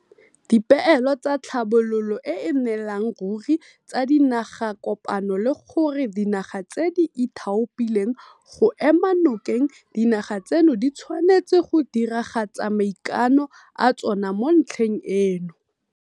Dipeelo tsa Tlhabololo e e Nnelang Ruri tsa Dinagakopano le gore dinaga tse di ithaopileng go ema nokeng dinaga tseno di tshwanetse go diragatsa maikano a tsona mo ntlheng eno.